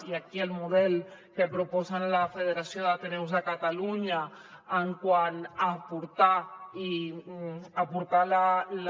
i aquí el model que proposen la federació d’ateneus de catalunya quant a aportar la